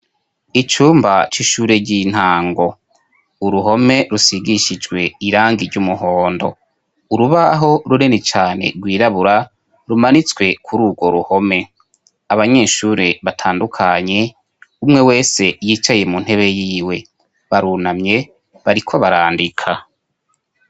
icumba c'ishure ry'intango .Uruhome rusigishijwe irangi iry'umuhondo .Urubaho runini cane rwirabura rumanitswe kuri urwo ruhome. Abanyeshuri batandukanye umwe wese yicaye mu ntebe yiwe barunamye bariko barandika.